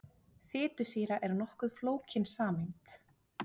Fitusýra er nokkuð flókin sameind.